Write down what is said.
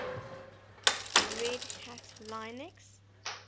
red hat linux